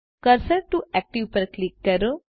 cursor to active પર click કરો